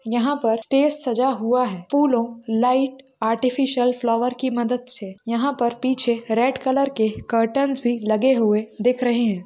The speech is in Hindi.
यहाँ पर स्टेज सजा हुआ है फूलो लाइट आर्टिफिशियल फ्लावर्स की मदद से यहाँ पर पीछे रेड कलर के कर्टेन्स भी लगे हुए दिख रहे है।